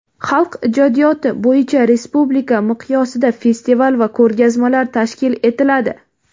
xalq ijodiyoti) bo‘yicha respublika miqyosida festival va ko‘rgazmalar tashkil etiladi;.